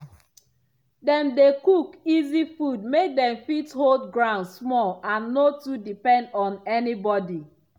dem dey cook easy food make dem fit hold ground small and no too depend on anybody.